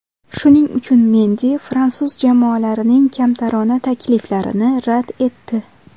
Shuning uchun Mendi fransuz jamoalarining kamtarona takliflarini rad etdi.